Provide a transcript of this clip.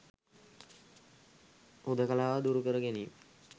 හුදකලාව දුරු කර ගැනීමට